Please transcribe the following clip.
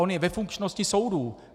On je ve funkčnosti soudů.